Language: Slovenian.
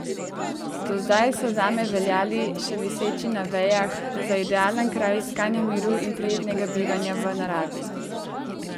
Do zdaj so zame veljali, še viseči na vejah, za idealen kraj iskanja miru in prijetnega bivanja v naravi.